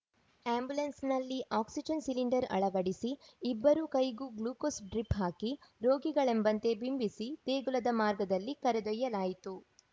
ಆ್ಯಂಬುಲೆನ್ಸ್‌ನಲ್ಲಿ oxygen cylinder ಅಳವಡಿಸಿ ಇಬ್ಬರೂ ಕೈಗೂ ಗ್ಲುಕೋಸ್‌ ಡ್ರಿಪ್‌ ಹಾಕಿ ರೋಗಿಗಳೆಂಬಂತೆ ಬಿಂಬಿಸಿ ದೇಗುಲದ ಮಾರ್ಗದಲ್ಲಿ ಕರೆದೊಯ್ಯಲಾಯಿತು